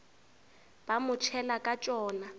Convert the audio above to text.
ba mo tšhela ka tšona